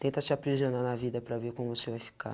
Tenta se aprisionar na vida para ver como você vai ficar.